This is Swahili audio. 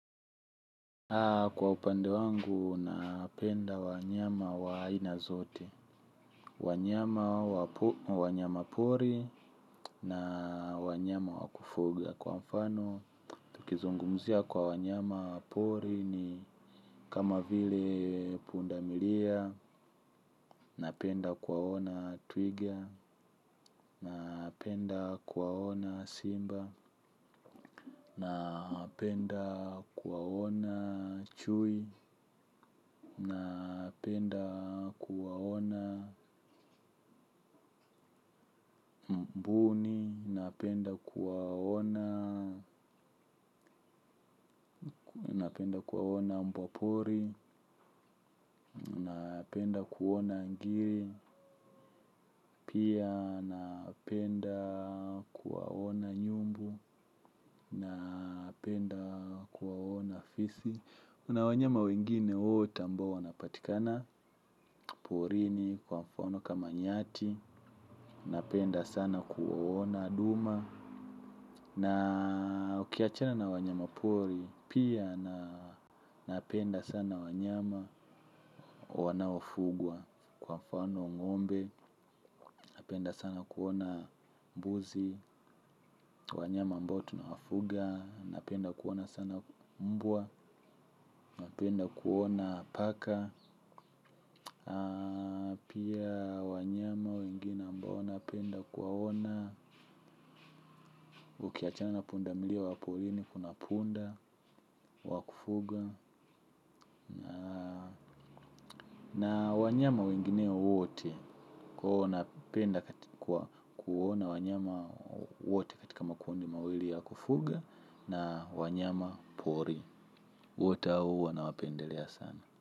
Kwa upande wangu napenda wanyama wa aina zote. Wanyama pori na wanyama wa kufuga kwa mfano. Tukizungumzia kwa wanyama pori ni kama vile pundamilia. Napenda kuwaona twiga. Napenda kuwaona simba. Napenda kuwaona chui napenda kuwaona, napenda kuwaona, napenda kuwaona mbwapori, napenda kuwaona ngiri, pia napenda kuwaona nyumbu, napenda kuwaona fisi. Kuna wanyama wengine wote ambao wanapatikana. Porini kwa mfano kama nyati. Napenda sana kuona duma. Na ukiachana na wanyama pori. Pia napenda sana wanyama wanaofugwa. Kwa mfano ngombe. Napenda sana kuona mbuzi. Wanyama ambao tunawafuga napenda kuona sana mbwa. Napenda kuona paka. Pia wanyama wengine ambao napenda kuwaona. Ukiachana na pundamilia waporini kuna punda wa kufuga. Na wanyama wengine wote. Kwa huo napenda kuwaona wanyama wote kitika makundi mawili wa kufuga. Na wanyama pori wote hao huwa na wapendelea sana.